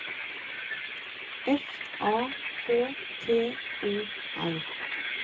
F A K T O R